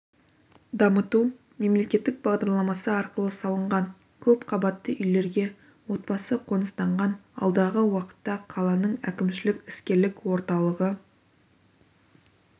дамыту мемлекеттік бағдарламасы арқылы салынған көпқабатты үйлерге отбасы қоныстанған алдағы уақытта қаланың әкімшілік іскерлік орталығы